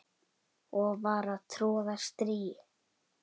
og var að troða strý